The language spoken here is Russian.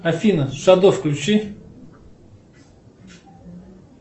афина шадо включи